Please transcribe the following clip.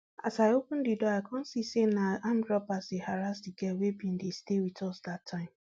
as i open di door i kon see say na armed robbers dey harrass di girl wey bin dey stay wit us dat time